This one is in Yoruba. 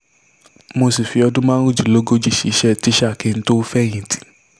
mo sì fi ọdún márùndínlógójì ṣiṣẹ́ tísà kí n tóó fẹ̀yìntì